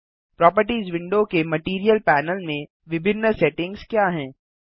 properties window के material panel में विभिन्न सेटिंग्स क्या हैं